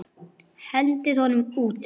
Hendið honum út!